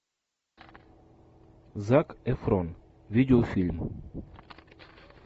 зак эфрон видеофильм